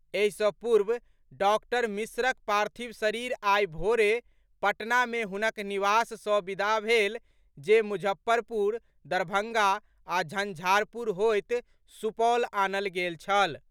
एहि सँ पूर्व डॉक्टर मिश्रक पार्थिव शरीर आइ भोरे पटना मे हुनक निवास सँ विदा भेल जे मुजफ्फरपुर, दरभंगा आ झंझारपुर होइत सुपौल आनल गेल छल।